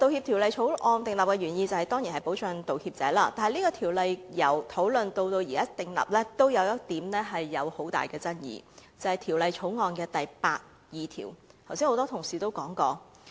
《條例草案》訂立的原意當然是保障道歉者，但這項《條例草案》由討論至現時訂立，仍有一點極大爭議，即《條例草案》第82條，剛才有多位同事也提到。